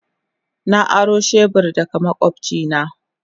Na aro shebur daga makwabcina.